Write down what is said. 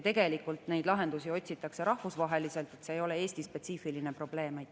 Tegelikult neid lahendusi otsitakse rahvusvaheliselt, see ei ole Eesti spetsiifiline probleem.